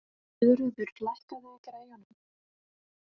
Guðröður, lækkaðu í græjunum.